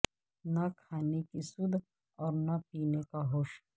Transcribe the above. نہ کھانے کی سدھ اور نہ پینے کا ہوش